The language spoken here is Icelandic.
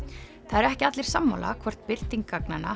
eru ekki allir sammála hvort birting gagnanna